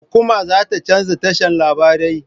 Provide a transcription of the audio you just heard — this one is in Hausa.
Hukuma za ta canza tashan larabai.